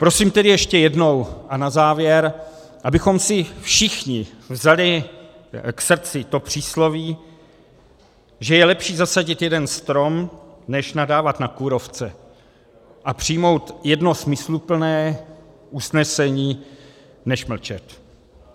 Prosím tedy ještě jednou a na závěr, abychom si všichni vzali k srdci to přísloví, že je lepší zasadit jeden strom než nadávat na kůrovce a přijmout jedno smysluplné usnesení než mlčet.